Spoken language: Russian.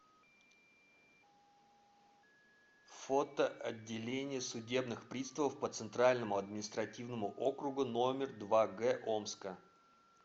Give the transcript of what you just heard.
фото отделение судебных приставов по центральному административному округу номер два г омска